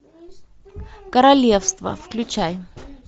королевство включай